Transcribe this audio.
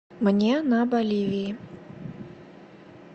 мне на боливии